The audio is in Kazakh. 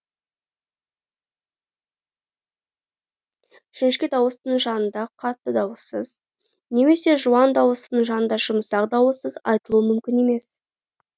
жіңішке дауыстының жанында қатты дауыссыз немесе жуан дауыстының жанында жұмсақ дауыссыз айтылуы мүмкін емес